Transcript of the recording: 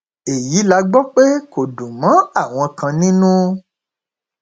èyí la gbọ pé kò dùn mọ àwọn kan nínú